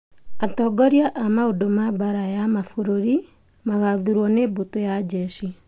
Atongoria a maũndũ ma mbaara ya ma bũrũri magathuurwo nĩ mbũtũ ya njeshi